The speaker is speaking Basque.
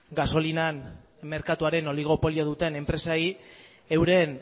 gasolinan merkatuaren oligopolio duten enpresei euren